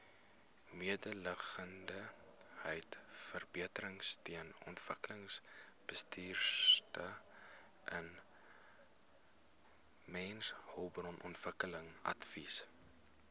mededingendheidsverbeteringsteun omgewingsbestuursteun mensehulpbronontwikkelingsadvies